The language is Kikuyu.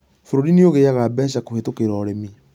Bũrũri nĩ ũgĩaga mbeca kũhetũkĩra ũrĩmi